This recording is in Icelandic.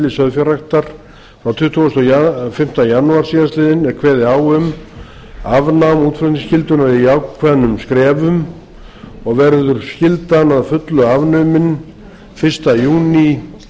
sauðfjárræktar frá tuttugasta og fimmta janúar síðastliðinn er kveðið á um afnám útflutningsskyldunnar í ákveðnum skrefum og verður skyldan að fullu afnumin fyrsta júní